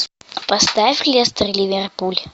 поставь лестер ливерпуль